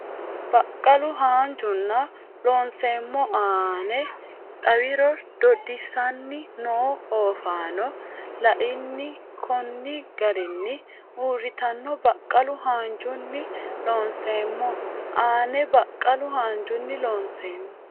Baqqalu haanjunni Loonseemmo aane xawiro dodissanni noo oofaano La ini konni garinni uurritanno Baqqalu haanjunni Loonseemmo aane Baqqalu haanjunni Loonseemmo.